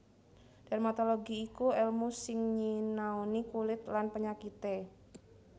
Dermatologi iku èlmu sing nyinaoni kulit lan panyakité